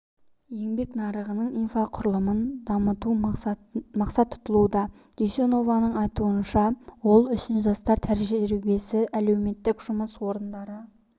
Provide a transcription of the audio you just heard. еңбек нарығының инфрақұрылымын дамыту мақсат тұтылуда дүйсенованң айтуныша ол үшін жастар тәжірибесі әлеуметтік жұмыс орындары